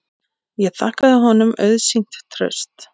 Ég þakkaði honum auðsýnt traust.